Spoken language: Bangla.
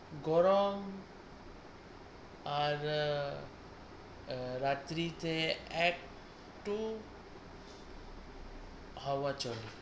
গরম আর আহ রাত্রিতে এক একটু হাওয়া চলে।